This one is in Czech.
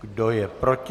Kdo je proti?